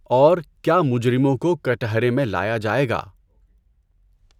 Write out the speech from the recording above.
اور کیا مجرموں کو کٹہرے میں لایا جائے گا؟